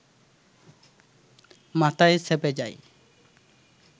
মাথায় চেপে যায়